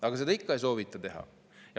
Aga seda ikka ei soovita teha.